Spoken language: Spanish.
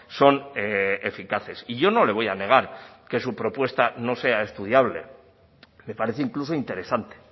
son eficaces y yo no le voy a negar que su propuesta no sea estudiable me parece incluso interesante